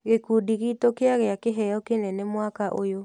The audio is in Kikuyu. Gĩkundi gitũ kĩagia kĩheo kĩnene mwaka ũyũ.